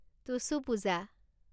Tusu Puja